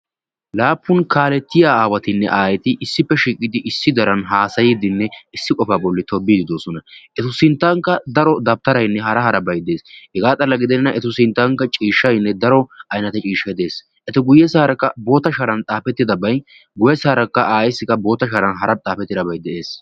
Laappun kaalettiya aawatinne aayeti issippe shiiqidi issi diran haasayddinne issi qofaa bolli tobbiyddi de'oosona. Etu sinttankka daro dawutaraynne hara harabay dees. He xalla gidenna etu sinttankka ciishshaynne daro aynate ciishshay dees. Eta guyessaarakka bootta sharan xaafettidabay guyessaarakka aayeessi bootta sharan hara xaafettidabay de'ees.